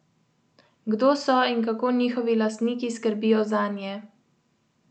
Kdo so in kako njihovi lastniki skrbijo zanje?